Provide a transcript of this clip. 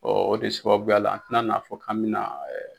o de sababubuya la an tina n'a fɔ k'an mi na.